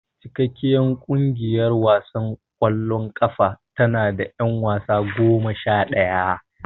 Cikakkiyar kungiyar wasan kwallon kafa tanada yan wasa goma shadaya.